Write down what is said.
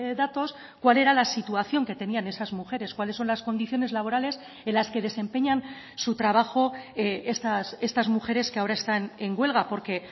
datos cuál era la situación que tenían esas mujeres cuáles son las condiciones laborales en las que desempeñan su trabajo estas mujeres que ahora están en huelga porque